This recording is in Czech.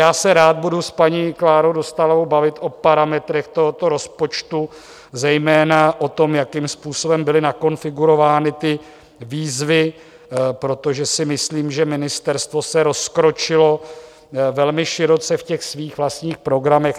Já se rád budu s paní Klárou Dostálovou bavit o parametrech tohoto rozpočtu, zejména o tom, jakým způsobem byly nakonfigurovány ty výzvy, protože si myslím, že ministerstvo se rozkročilo velmi široce v těch svých vlastních programech.